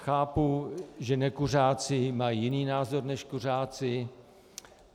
Chápu, že nekuřáci mají jiný názor než kuřáci.